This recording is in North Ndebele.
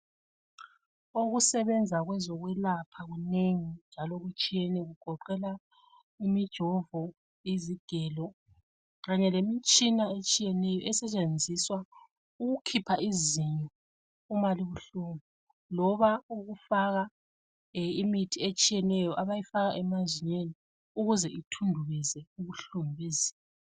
Ukusebenza kwezokwelapha kunengi njalo kutshiyene. Kugoqela imijovo izigelo, kanye lemitshina etshiyeneyo esetshenziswa ukukhipha izinyo loba ukufaka imithi etshiyeneyo abayifaka emazinyweni ukuze ithundubeze ubuhlungu bezinyo.